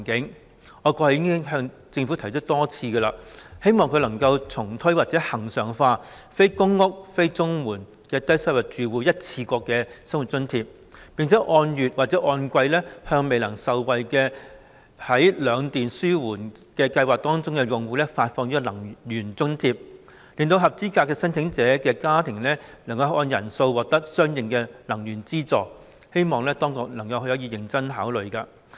其實，我過去已多次向政府提出，希望可以重推或恆常化"非公屋、非綜援的低收入住戶一次過生活津貼"，並按月或按季向未能受惠於兩電紓緩計劃的用戶發放能源津貼，使合資格申請者可按家庭人數獲得相應的能源資助，希望當局可以認真考慮。